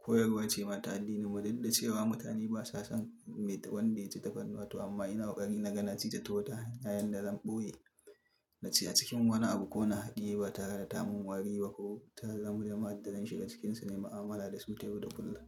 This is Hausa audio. Koyarwa ce mata addinin, mu dudda ce wa mutane ba sa san me wanda yaci tafarnuwa to amma ina ƙari nagana na cita ta wata hanya yanda zan ɓoye, na ci a cikin wani abu ko na haɗiye ba tare da tamin wari ba ko taya zamuje ma'addadan shiga cikinsu ne ma'amala da su ta yau da kullum.